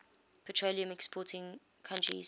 petroleum exporting countries